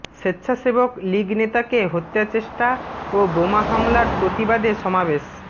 স্বেচ্ছাসেবক লীগ নেতাকে হত্যাচেষ্টা ও বোমা হামলার প্রতিবাদে সমাবেশ